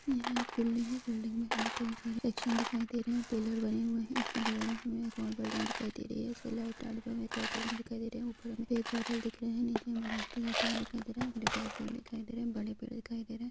यह एक बिल्डिंग हैबिल्डिंग मे हमे कई सारे एक्शन दिखाई दे रहे है पिल्लर वाली वह है इसके बगल मे एक और बिल्डिंग दिखाई दे रही है एक और बिल्डिंग दिखाई दे रही हैऊपर सफ़ेद बादल दिख रहे है हरे-भरे पेड़ दिखाई दे रहे है बड़े पेड़ दिखाई दे रहे है।